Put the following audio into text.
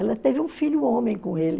Ela teve um filho homem com ele.